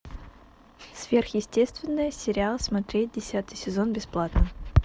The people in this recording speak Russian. сверхъестественное сериал смотреть десятый сезон бесплатно